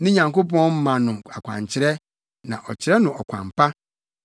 Ne Nyankopɔn ma no akwankyerɛ na ɔkyerɛ no ɔkwan pa.